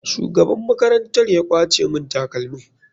Shugaban makarantar ya kwace mun takalmin.